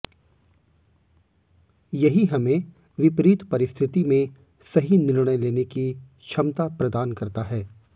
यही हमें विपरीत परिस्थिति में सही निर्णय लेने की क्षमता प्रदान करता है